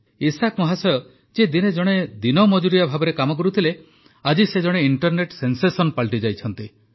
Isaac ମହାଶୟ ଯିଏ ଦିନେ ଜଣେ ଦିନମଜୁରିଆ ଭାବେ କାମ କରୁଥିଲେ ଆଜି ସେ ଜଣେ ଇଂଟରନେଟ୍ ସେନ୍ସେସନ୍ ପାଲଟିଯାଇଛନ୍ତି